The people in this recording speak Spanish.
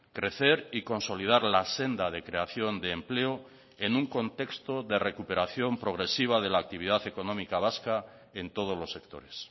crecer y consolidar la senda de creación de empleo en un contexto de recuperación progresiva de la actividad económica vasca en todos los sectores